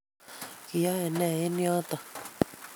Kiyoe nee eng yoto?